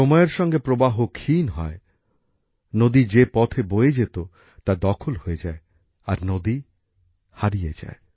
সময়ের সঙ্গে প্রবাহ ক্ষীণ হয় নদী যে পথ বয়ে যেত তা দখল হয়ে যায় আর নদী হারিয়ে যায়